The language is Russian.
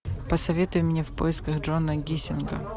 посоветуй мне в поисках джона гиссинга